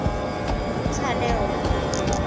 talewo